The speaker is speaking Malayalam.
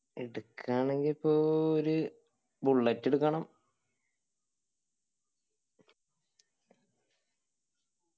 എടുക്കാണെങ്കി ഇപ്പോ ഏർ ഒരു bullet എടുക്കണം